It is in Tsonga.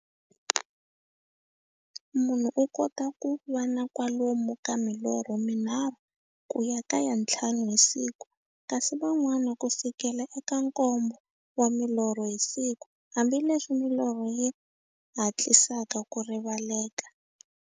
Munhu u kota ku va na kwalomu ka milorho mi nharhu ku ya ka ya nthlanu hi siku, kasi van'wana ku fikela eka nkombo wa milorho hi siku, hambileswi milorho yi hatlisaka ku rivaleka.